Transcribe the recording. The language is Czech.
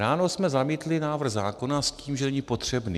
Ráno jsme zamítli návrh zákona s tím, že není potřebný.